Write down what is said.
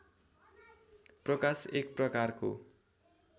प्रकाश एकप्रकारको